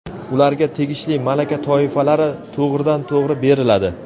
ularga tegishli malaka toifalari to‘g‘ridan-to‘g‘ri beriladi;.